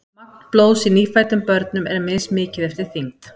Magn blóðs í nýfæddum börnum er mismikið eftir þyngd.